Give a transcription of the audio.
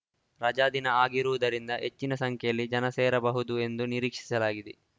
ರಜಾ ದಿನ ಆಗಿರುವುದರಿಂದ ಹೆಚ್ಚಿನ ಸಂಖ್ಯೆಯಲ್ಲಿ ಜನ ಸೇರಬಹುದು ಎಂದು ನಿರೀಕ್ಷಿಸಲಾಗಿದೆ